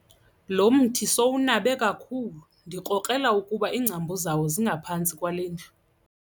Lo mthi sowunabe kakhulu ndikrokrela ukuba iingcambu zawo zingaphantsi kwale ndlu.